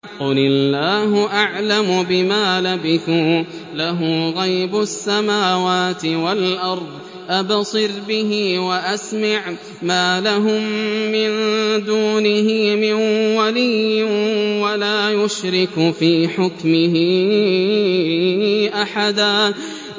قُلِ اللَّهُ أَعْلَمُ بِمَا لَبِثُوا ۖ لَهُ غَيْبُ السَّمَاوَاتِ وَالْأَرْضِ ۖ أَبْصِرْ بِهِ وَأَسْمِعْ ۚ مَا لَهُم مِّن دُونِهِ مِن وَلِيٍّ وَلَا يُشْرِكُ فِي حُكْمِهِ أَحَدًا